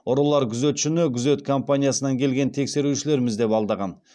ұрылар күзетшіні күзет компаниясынан келген тексерушілерміз деп алдаған